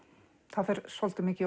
það fer svolítið mikil